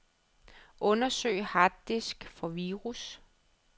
Undersøg harddisk for virus.